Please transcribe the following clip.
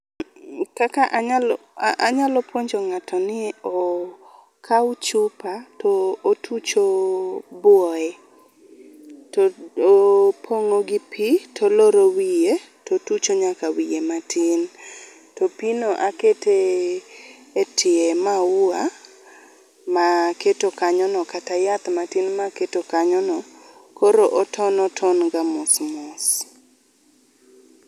Kaka anyalo, anyalo puonjo ng'ato ni okaw chupa to otucho buoye, to opng'o gi pi toloro wiye totucho nyaka wiye matin. To pino akete e tie maua maketo kanyo no, kata yath matin maketo kanyo no. Koro oton oton ga mos mos.